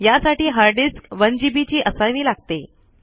यासाठी hard disk 1जीबी ची असावी लागते